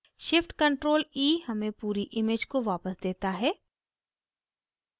shift + ctrl + e हमें पूरी image को वापस देता है